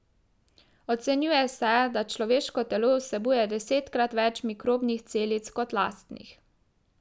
Ocenjuje se, da človeško telo vsebuje desetkrat več mikrobnih celic kot lastnih.